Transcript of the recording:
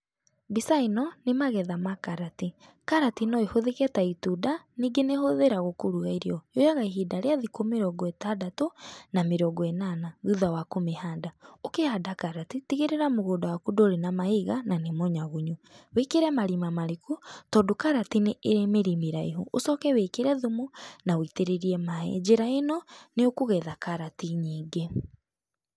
Mbica ĩno nĩ magetha ma karati. Karati no ĩhũthĩke ta itunda, ningĩ nĩ ĩhũthĩragwo kũruga irio. Yoyaga ihinda rĩa thikũ mĩrongo ĩtandatũ na mĩrongo ĩnana thutha wa kũmĩhanda. Ũkĩhanda karati, tigĩrĩra mũgũnda ndũrĩ na mahiga na nĩ mũnyagunyu. Wĩkĩre marima mariku tondũ karati nĩ ĩrĩ mĩri mĩraihu ũcoke wĩkĩre thumu na ũitĩrĩrie maĩ. Njĩra ĩno nĩũkũgetha karati nyingĩ.